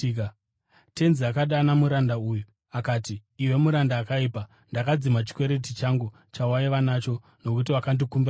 “Tenzi akadana muranda uya akati, ‘Iwe muranda akaipa. Ndakadzima chikwereti changu chawaiva nacho nokuti wakandikumbira zvikuru.